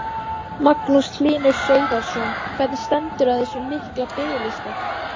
Magnús Hlynur Hreiðarsson: Hvernig stendur á þessum mikla biðlista?